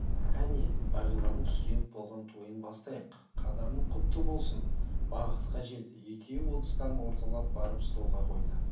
әне бағиланың студент болған тойын бастайық қадамың құтты болсын бақытқа жет екеуі ыдыстарын орталап барып столға қойды